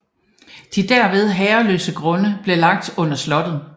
De derved herreløse grunde blev lagt under slottet